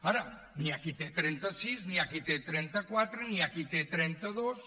ara hi ha qui en té trenta sis hi ha qui en té trenta quatre hi ha qui en té trenta dos